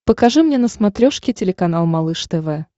покажи мне на смотрешке телеканал малыш тв